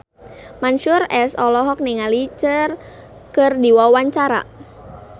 Mansyur S olohok ningali Cher keur diwawancara